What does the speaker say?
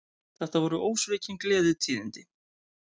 Þetta voru ósvikin gleðitíðindi